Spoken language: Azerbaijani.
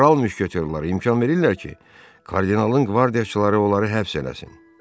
Kral müşketiyorlara imkan verirlər ki, kardinalın qvardiyaçıları onları həbs eləsin.